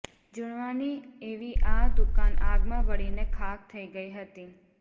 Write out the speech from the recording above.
જૂનવાણી એવી આ દુકાન આગમાં બળીને ખાખ થઇ ગઇ હતી